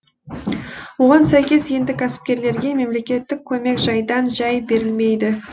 оған сәйкес енді кәсіпкерлерге мемлекеттік көмек жайдан жай берілмейді